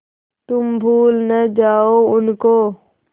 तुम भूल न जाओ उनको